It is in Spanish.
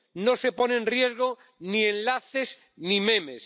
No se pone en riesgo ni enlaces ni memes.